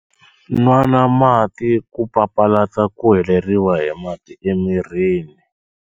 Nwana mati ku papalata ku heleriwa hi mati emirini.